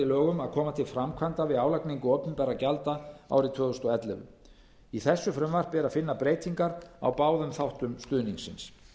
lögum að koma til framkvæmda við álagningu opinberra gjalda árið tvö þúsund og ellefu í þessu frumvarpi er að finna breytingar á báðum þáttum stuðningsins